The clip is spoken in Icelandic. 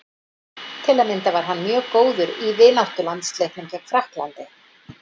Til að mynda var hann mjög góður í vináttulandsleiknum gegn Frakklandi.